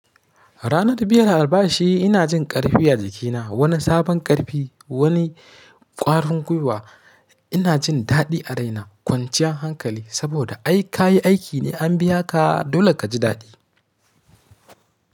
Ranar biyar a albashi ina jin ƙarfi a jikina, woni sabon ƙarfi, woni ƙwarin guiwa. Ina jin daɗi a raina kwanciyar hankali saboda ai ka yi aiki ne an biya ka dole ka ji daɗi.